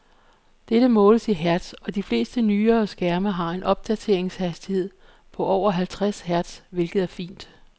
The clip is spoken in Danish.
Dette måles i hertz, og de fleste nyere skærme har en opdateringshastighed på over halvtreds hertz, hvilket er fint.